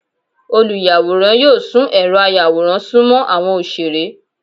Olùyáworán yóò sùn erò àyàwórán sùmọ àwọn oṣere.